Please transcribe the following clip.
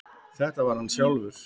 Þetta var hann sjálfur.